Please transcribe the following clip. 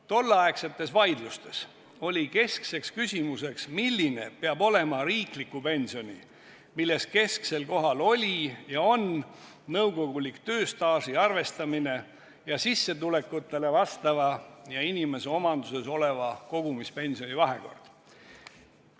Tolleaegsetes vaidlustes oli keskne küsimus, milline peab olema riikliku pensioni, milles kesksel kohal oli ja on nõukogulik tööstaaži arvestamine, ning sissetulekutele vastava ja inimese omanduses oleva kogumispensioni vahekord.